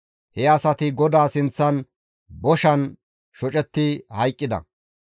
He asati GODAA sinththan boshan shocetti hayqqida.